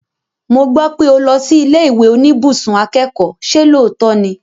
Mo gbọ́ pé o lọ sí ilé ìwé oníbùsùn akẹ́kọ̀ọ́, ṣe lóòótọ́ ni?